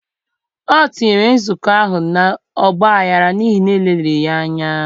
O tinyere nzukọ ahụ na ọ gbaghara n'ihi na e leliri ya anya.